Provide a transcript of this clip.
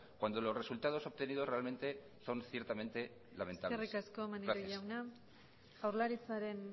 cuando los resultados obtenidos realmente son ciertamente lamentables gracias eskerrik asko maneiro jauna jaurlaritzaren